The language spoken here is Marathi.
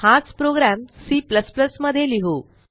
हाच प्रोग्रॅम C मध्ये लिहू